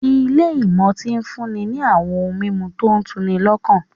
Ilé ìmutí ń fúnni ní àwọn ohun mímu tó tu'ni lọ́kàn